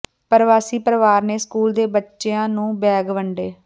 ਪ੍ਰਵਾਸੀ ਪਰਿਵਾਰ ਨੇ ਸਕੂਲ ਦੇ ਬੱਚਿਆਂ ਨੂੰ ਬੈਗ ਵੰਡੇ